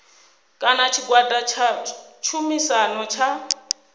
kana tshigwada tsha tshumisano tsha